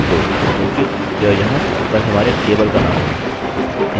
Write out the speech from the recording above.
अतः insert into people क्योंकि यह यहाँ पर हमारे टेबलतालिकाका नाम है